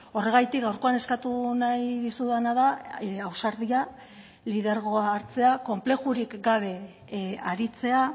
horregatik gaurkoan eskatu nahi dizudana da ausardia lidergoa hartzea konplexurik gabe aritzea